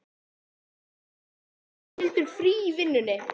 Þennan dag átti Ragnhildur frí í vinnunni.